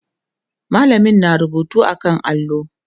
mallamin na rubutu a kan allo